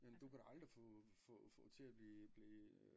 Jamen du kan da aldrig få få få til at blive blive øh